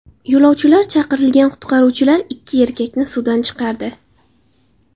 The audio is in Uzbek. Yo‘lovchilar chaqirgan qutqaruvchilar ikki erkakni suvdan chiqardi.